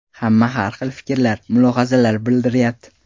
Hamma har hil fikrlar, mulohazalar bildiryapti.